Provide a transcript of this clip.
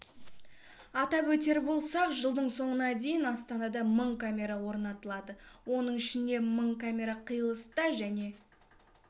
атап өтер болсақ жылдың соңына дейін астанада мың камера орнатылады оның ішінде мың камера қиылыста және